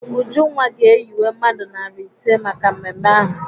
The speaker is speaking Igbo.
Ujunwa ga-eyiwe mmadụ narị ise maka mmemme ahụ.